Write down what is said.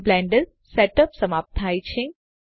અહીં blender set up સમાપ્ત થાય છે